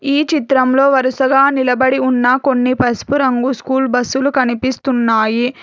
ఈ చిత్రంలో వరుసగా నిలబడి ఉన్న కొన్ని పసుపు రంగు స్కూల్ బస్సులు కనిపిస్తున్నాయి.